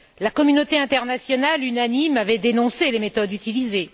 La communauté internationale, unanime, avait dénoncé les méthodes utilisées.